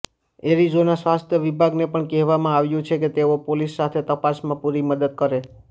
Arizona સ્વસ્થ વિભાગને પણ કહેવામાં આવ્યું છે કે તેઓ પોલીસ સાથે તપાસમાં પુરી મદદ કરે